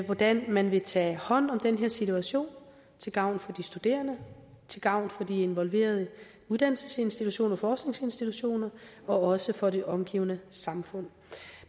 hvordan man vil tage hånd om den her situation til gavn for de studerende til gavn for de involverede uddannelsesinstitutioner forskningsinstitutioner og også for det omgivende samfund